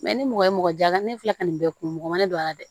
ni mɔgɔ ye mɔgɔ jala ne filɛ ka nin bɛɛ kun mɔgɔ ma ne don a la dɛ